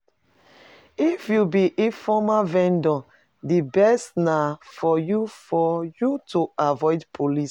If you be informal vendor, di best na for you for you to avoid police.